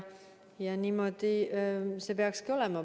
Ja niimoodi see peakski olema.